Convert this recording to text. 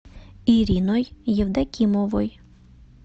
ириной евдокимовой